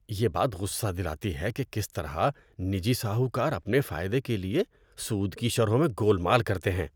یہ بات غصہ دلاتی ہے کہ کس طرح نجی ساہوکار اپنے فائدے کے لیے سود کی شرحوں میں گولمال کرتے ہیں۔